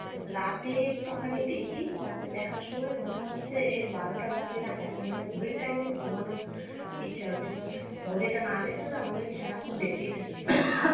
রাতে একটুখানি দেখি, রাতে দেখার সময় মনে হচ্ছে বারোটা বাজে না এখন মানে ঘড়ির time দেখে ঘুমানোর ইচ্ছা কিন্তু ঘড়িটা না দেখলেনা মনে হয় যে সারাক্ষণ দেখতেই থাকি Facebook।